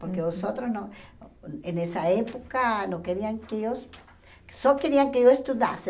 Porque os outros não... Em nessa época, não queriam que eu... Só queriam que eu estudasse.